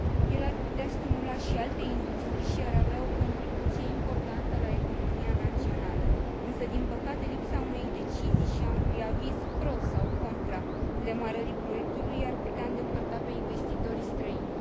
El ar putea stimula și alte industrii și ar avea o contribuție importantă la economia națională însă, din păcate, lipsa unei decizii și a unui aviz pro sau contra demarării proiectului i ar putea îndepărta pe investitorii străini.